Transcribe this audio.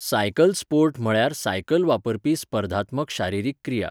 Cycle sport म्हळ्यार cycle वापरपी स्पर्धात्मक शारिरीक क्रिया.